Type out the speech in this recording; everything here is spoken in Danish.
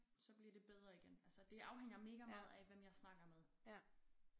Så bliver det bedre igen altså det afhænger mega meget af hvem jeg snakker med